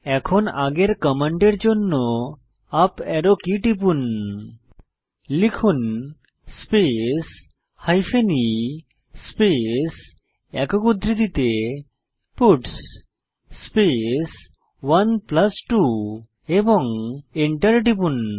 এখন আগের কমান্ডের জন্য আপ অ্যারো কী টিপুন লিখুন স্পেস হাইফেন e স্পেস একক উদ্ধৃতিতে পাটস স্পেস 12 এবং এন্টার টিপুন